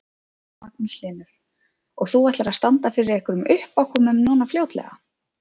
Magnús Hlynur: Og þú ætlar að standa fyrir einhverjum uppákomum núna fljótlega?